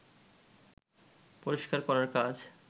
পরিষ্কার করার কাজ